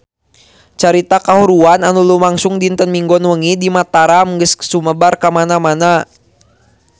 Carita kahuruan anu lumangsung dinten Minggon wengi di Mataram geus sumebar kamana-mana